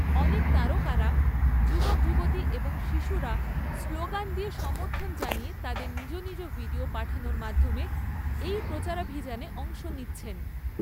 অনেক তারকারা, যুবক যুবতী এবং শিশুরা স্লোগান দিয়ে সমর্থন জানিয়ে তাদের নিজ নিজ ভিডিও পাঠানোর মাধ্যমে, এই প্রচারাভিযানে অংশ নিচ্ছেন।